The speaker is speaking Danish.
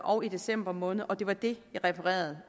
og december måned og det var det jeg refererede